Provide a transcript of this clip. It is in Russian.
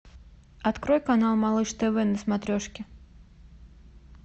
открой канал малыш тв на смотрешке